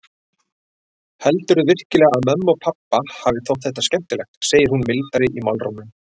Heldurðu virkilega að mömmu og pabba hafi þótt þetta skemmtilegt, segir hún mildari í málrómnum.